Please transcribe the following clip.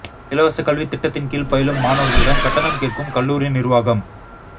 இலவசக் கல்வித் திட்டத்தின் கீழ் பயிலும் மாணவா்களிடம் கட்டணம் கேட்கும் கல்லூரி நிா்வாகம்